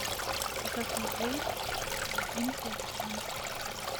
закажи один килограмм сахара